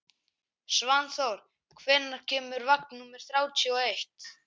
Svanþór, hvenær kemur vagn númer þrjátíu og eitt?